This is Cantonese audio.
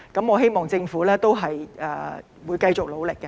我希望政府會繼續努力。